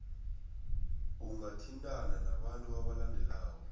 ungathintana nabantu abalandelako